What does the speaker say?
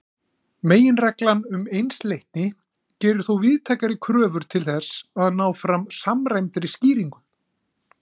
Meginreglan um einsleitni gerir þó víðtækari kröfur til þess að ná fram samræmdri skýringu.